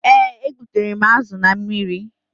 Ee, e gbutere m azu na mmiri